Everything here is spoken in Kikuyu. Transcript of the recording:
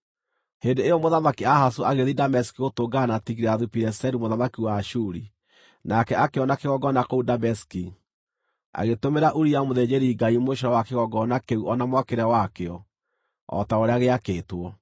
Hĩndĩ ĩyo Mũthamaki Ahazu agĩthiĩ Dameski gũtũngana na Tigilathu-Pileseru mũthamaki wa Ashuri. Nake akĩona kĩgongona kũu Dameski, agĩtũmĩra Uria mũthĩnjĩri-Ngai mũcoro wa kĩgongona kĩu o na mwakĩre wakĩo o ta ũrĩa gĩakĩtwo.